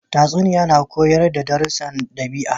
Tatsuniya na koyar da darussun dabi'a.